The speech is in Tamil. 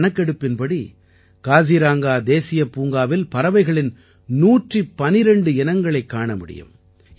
இந்தக் கணக்கெடுப்பின்படி காசிரங்கா தேசியப்பூங்காவில் பறவைகளின் 112 இனங்களைக் காண முடியும்